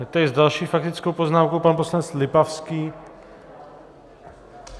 Je tady s další faktickou poznámkou pan poslanec Lipavský.